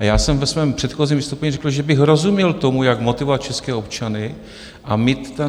A já jsem ve svém předchozím vystoupení řekl, že bych rozuměl tomu, jak motivovat české občany a mít tam...